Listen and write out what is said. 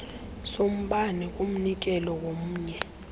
sombane kumnikelo womnye